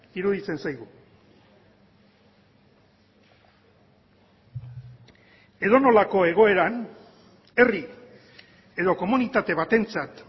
iruditzen zaigu edonolako egoeran herri edo komunitate batentzat